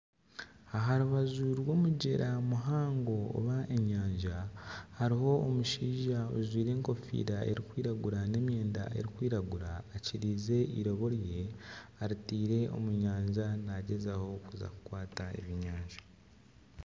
Aha rubaju rw'omugyera muhango oba enyanja hariho omushaija ajwaire enkofiira erikwiragura n'emyenda erikwiragura akiriize eirobo rye aritaire omu nyanja naagyezaho kuza kukwata ebyenyanja.